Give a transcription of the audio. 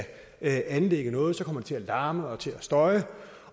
anlægge noget kommer det til at larme og til at støje